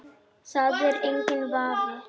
Það er enginn vafi.